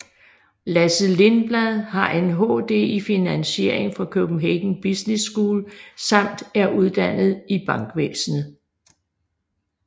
Lasse Lindblad har en HD i Finansiering fra Copenhagen Business School samt er uddannet i bankvæsnet